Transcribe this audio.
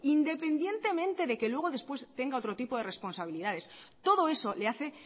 independientemente de que luego después tengas otro tipo de responsabilidades todo eso le hace